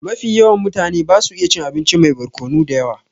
Mafi yawan mutane basu iya cin abinci mai barkonu da yawa